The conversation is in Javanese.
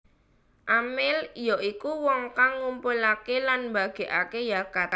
Amil ya iku wong kang ngumpulaké lan mbagèkaké zakat